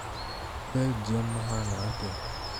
Belgium mahana atĩa?